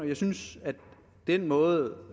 jeg synes at den måde